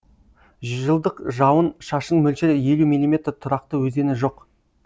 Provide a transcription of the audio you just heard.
жылдық жауын шашын мөлшері елу миллиметр тұрақты өзені жоқ